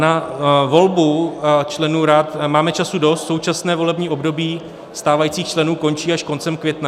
Na volbu členů rad máme času dost, současné volební období stávajících členů končí až koncem května.